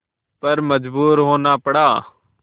पर मजबूर होना पड़ा